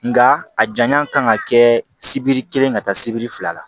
Nga a janya kan ka kɛ sibiri kelen ka taa sibiri fila la